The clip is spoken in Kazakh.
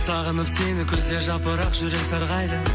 сағынып сені күзде жапырақ жүрек сарғайды